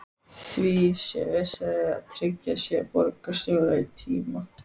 Því sé vissara að tryggja sér borgarstjóra í tíma.